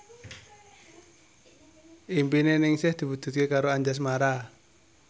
impine Ningsih diwujudke karo Anjasmara